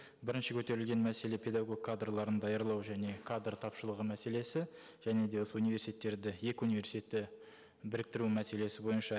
бірінші көтерілген мәселе педагог кадрларын даярлау және кадр тапшылығы мәселесі және де осы университеттерді екі университетті біріктіру мәселесі бойынша